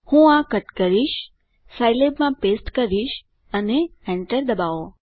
હું આ કટ કરીશ સાઈલેબમાં પેસ્ટ કરીશ અને એન્ટર ડબાઓ